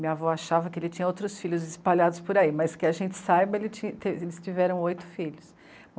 Minha avó achava que ele tinha outros filhos espalhados por aí, mas que a gente saiba, eles tiveram oito filhos.